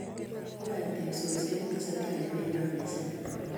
Kiyoe teksosiek kotestai emenyo mising